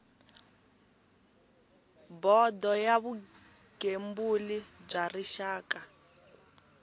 bodo ya vugembuli bya rixaka